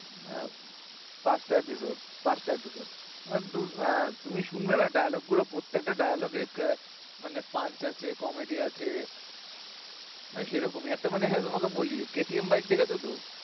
ওহ পাঁচটা episode পাঁচটা episode আহ দু~ হ্যা তুমি শুনলে না dialogue গুলো প্রত্যেকটা dialogue এ আহ funs আছে comedy আছে না সেরকমই একটা মনে হয় তোমাকে বলি KTM bike দেবে দুদু